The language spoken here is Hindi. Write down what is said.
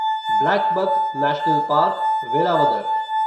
blackbuck national park, Velavadar